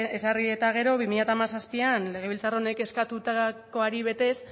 ezarri eta gero bi mila hamazazpian legebiltzar honek eskatutakoari betez